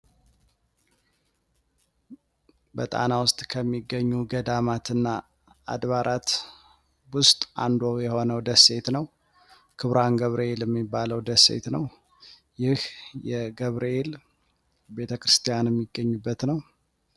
በጣና ውስጥ ከሚገኙ ገዳማትና አድባራት ውስጥ አንዱ የሆነው ደሴት ነው። ክቡራን ገብርኤል እሚባለው ደሴት ነው። ይህ የገብርሄል ቤተክርስቲያን የሚገኝበት ነው።